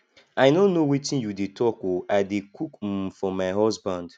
i no know wetin you dey talk oo i dey cook um for my husband